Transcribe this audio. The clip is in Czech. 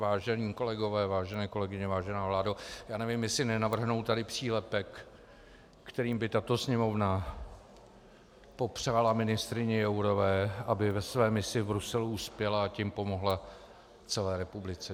Vážení kolegové, vážené kolegyně, vážená vládo, já nevím, jestli nenavrhnout tady přílepek, kterým by tato Sněmovna popřála ministryni Jourové, aby ve své misi v Bruselu uspěla, a tím pomohla celé republice.